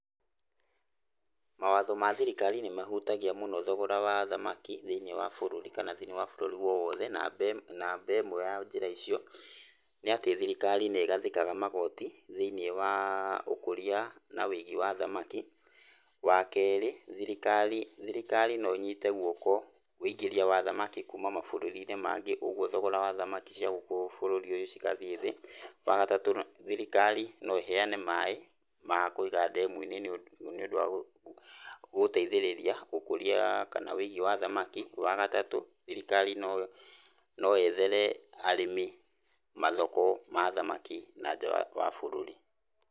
Mawatho ma thirikari nĩ mahutagia mũno thogora wa thamaki thĩinĩ wa bũrũri kana thĩinĩ wa bũrũri wothe. Namba ĩmwe ya njĩra icio nĩ atĩ thirikari nĩ ĩgathĩkaga magoti thĩinĩ wa ũkũria na ũigi wa thamaki. Wa kerĩ thirikari no ĩnyĩte guoko ũingĩria wa thamaki kuuma mabũrũrinĩ mangĩ ũguo thogora wa thamaki cia gũkũ bũrũrĩ ũyũ cigathiĩ thĩ. Wa gatatũ thirikari no ĩheane maĩ ma kũiga ndemuinĩ nĩũndũ wa gũteithĩrĩria ũkũria kana ũigi wa thamaki. Wa gatatũ thirikari no yethere arĩmi mathoko ma thamaki na nja wa bũruri.